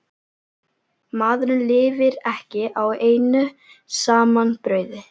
Maðurinn lifir ekki á einu saman brauði.